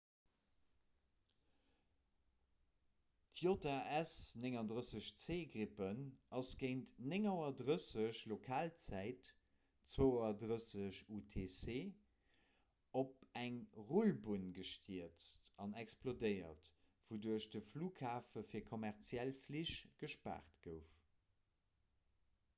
d'jas 39c gripen ass géint 9.30 auer lokalzäit 0230 utc op eng rullbunn gestierzt an explodéiert wouduerch de flughafe fir kommerziell flich gespaart gouf